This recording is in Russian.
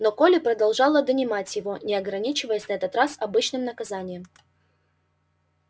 но колли продолжала донимать его не ограничиваясь на этот раз обычным наказанием